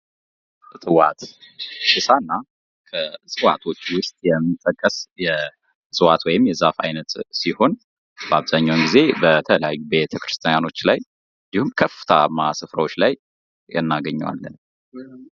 እፅዋት ብሳና ከእፅዋቶች ዉስጥ የሚጠቀስ የእፅዋት ወይም የዛፍ አይነት ሲሆን አብዛኛዉን ጊዜ በተለያዩ ቤተክርስቲያኖች ላይ እንዲሁም ከፍታማ ስፍራዎች ላይ እናገኘዋለን።